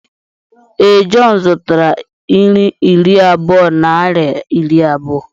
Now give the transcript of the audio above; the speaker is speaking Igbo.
Ee, John zụtara nri iri abụọ naịra iri abụọ.